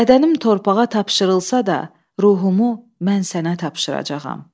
Bədənim torpağa tapşırılsa da, ruhumu mən sənə tapşıracağam.